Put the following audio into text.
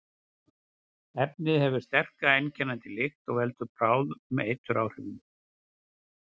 Efnið hefur sterka, einkennandi lykt og veldur bráðum eituráhrifum.